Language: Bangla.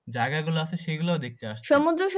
জায়গাগুলো আছে সেইগুলোও দেখতে আসছে।